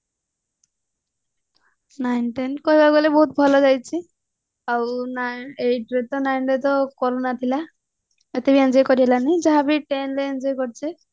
nine ten କହିବାକୁ ଗଲେ ବହୁତ ଭଲ ଯାଇଛି ଆଉ eight ରେ ଆଉ nine ରେ ତ corona ଥିଲା ସେଥି ପାଇଁ enjoy କରି ପାରିନି ଯାହା ବି ten ରେ enjoy କରିଛି